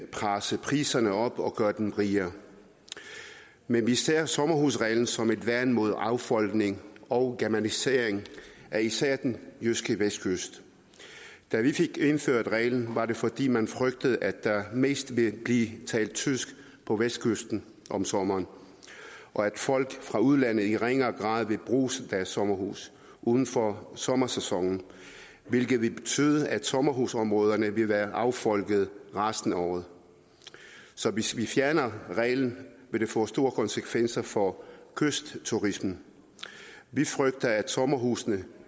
presse priserne op og gøre dem rigere men vi ser sommerhusreglen som et værn mod affolkning og germanisering af især den jyske vestkyst da vi fik indført reglen var det fordi man frygtede at der mest ville blive talt tysk på vestkysten om sommeren og at folk fra udlandet i ringere grad ville bruge deres sommerhus uden for sommersæsonen hvilket ville betyde at sommerhusområderne ville være affolket resten af året så hvis vi fjerner reglen vil det få store konsekvenser for kystturismen vi frygter at sommerhusene